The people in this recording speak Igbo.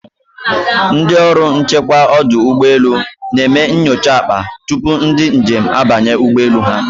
Ndị ọrụ nchekwa ọdụ ụgbọ elu na-eme nyocha akpa tupu ndị njem abanye ụgbọ elu ha.